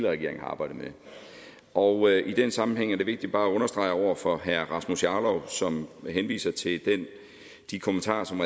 regering arbejdede med og i den sammenhæng er det vigtigt bare at understrege over for herre rasmus jarlov som henviser til de kommentarer som